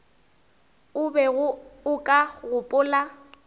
o bego o ka gopola